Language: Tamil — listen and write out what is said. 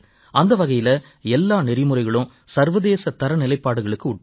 அந்த வகையில எல்லா நெறிமுறைகளும் சர்வதேச தரநிலைகளுட்பட்டவை